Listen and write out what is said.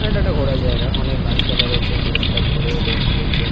এটা একটা ঘোরার জায়গা। অনেক গাছপালা রয়েছে দূরে একটা বড় দেওয়াল রয়েছে।